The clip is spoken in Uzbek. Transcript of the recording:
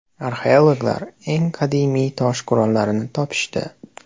Arxeologlar eng qadimiy tosh qurollarni topishdi.